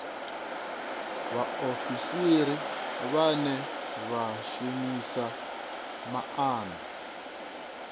vhaofisiri vhane vha shumisa maanda